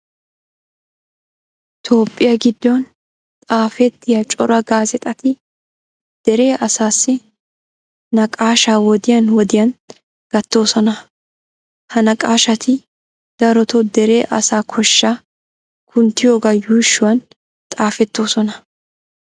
Toophphiya giddon xaafettiya cora gaazeexati dere asaassi naqaashaa wodiyan wodiyan gattoosona. Ha naqaashati darotoo dere asaa koshshaa kunttiyogaa yuushuwan xaafettoosona.